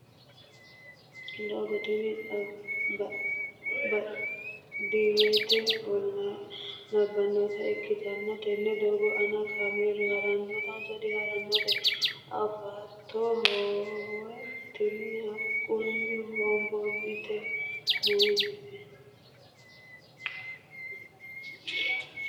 doogo tini baadiyyete ollaa labbanota ikkitanna, tenne doogo aana kaameelu harannotenso di harannotero afootto? hoowe tini haqqunni hoonboonniti mayiinnite ?